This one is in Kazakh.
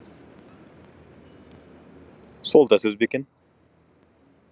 сол да сөз ба екен